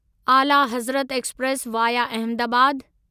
आला Hazrat express via Ahmedabad